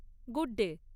Good day!